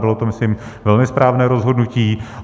Bylo to, myslím, velmi správné rozhodnutí.